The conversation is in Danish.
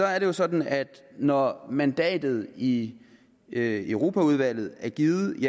er det jo sådan at når mandatet i europaudvalget er givet